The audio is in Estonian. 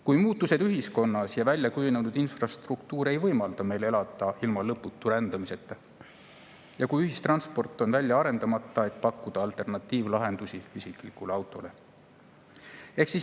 Kui muutused ühiskonnas ja väljakujunenud infrastruktuur ei võimalda meil elada ilma lõputu rändamiseta ja kui ühistransport on välja arendamata, et pakkuda alternatiivlahendusi isiklikule autole?